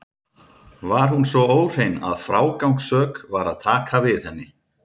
Var hún svo óhrein að frágangssök var að taka við henni.